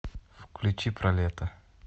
включи про лето